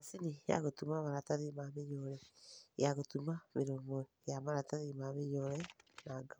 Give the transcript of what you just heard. Macini ya gũtuma maratathi ma mĩnyore: Ya gũtuma mĩromo ya maratathi ma mĩnyore na ngamu.